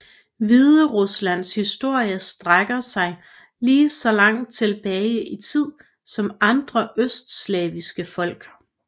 Hvideruslands historie strækker sig lige så langt tilbage i tid som andre østslaviske folk